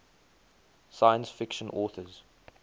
science fiction authors